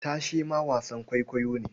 Tashe ma wasan kwaikwayo ne.